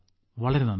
വളരെ നന്ദി